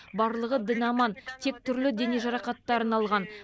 барлығы дін аман тек түрлі дене жарақаттарын алған